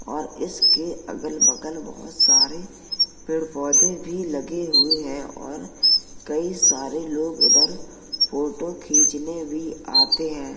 और इसके अगल बगल बोहोत सारे पेड़ पौधे भी लगे हुए हैं और कई सारे लोग इधर फोटो खीचने भी आते हैं।